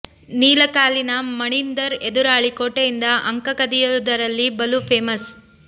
ನೀಲ ಕಾಲಿನ ಮಣಿಂದರ್ ಎದುರಾಳಿ ಕೋಟೆಯಿಂದ ಅಂಕ ಕದಿಯುದರಲ್ಲಿ ಬಲು ಫೇಮಸ್